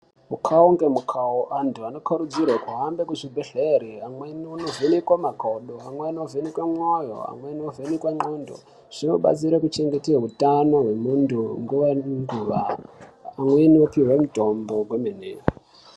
Mukawo ngemukawo antu anokurudzirwe kuhambe kuzvibhedhlera. amwe eindovhenekwe makodo, amwe eindovhenekwe moyo, amwe eindovhenekwe ndxondo, zvinobatsira kuchengete utano hwendxondo nguva nenguva, veinopihwe mitombo kwemeneyo.